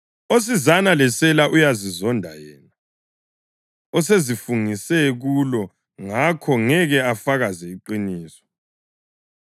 Osizana lesela uyazizonda yena; usezifungise kulo ngakho ngeke afakaze iqiniso.